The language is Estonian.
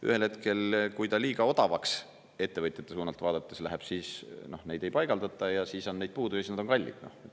Ühel hetkel, kui ta liiga odavaks ettevõtjate suunalt vaadates läheb, siis neid ei paigaldata ja siis on neid puudu ja siis nad on kallid.